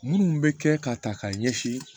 Minnu bɛ kɛ k'a ta k'a ɲɛsin